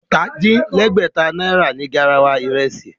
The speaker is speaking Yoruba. Ọ̀tà-din-lẹ́gbẹ̀ta náírà ni garawa ìrẹsì